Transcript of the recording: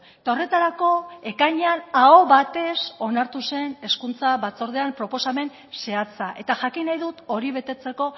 eta horretarako ekainean aho batez onartu zen hezkuntza batzordean proposamen zehatza eta jakin nahi dut hori betetzeko